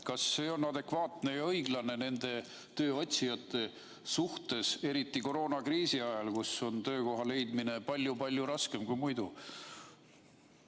Kas see on adekvaatne ja õiglane nende tööotsijate suhtes, eriti koroonakriisi ajal, kui töökohta leida on palju-palju raskem kui muidu?